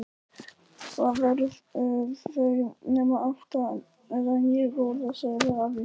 Hvað, eru þau nema átta eða níu, góða? sagði afi.